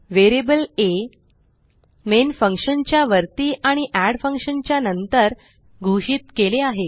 variable आ main फंक्शनच्या वरती आणि एड फंक्शन च्या नंतर घोषित केले आहे